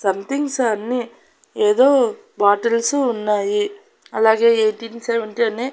Somethings అన్ని ఏదో bottles ఉన్నాయి అలాగే యైటీన్ సెవెంటీ అని.